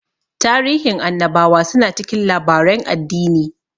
Tarihin annabawa su na cikin labaren addini